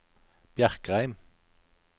Bjerkreim